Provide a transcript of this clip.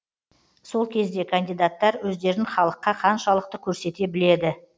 сол кезде кандидаттар өздерін халыққа қаншалықты көрсете біледі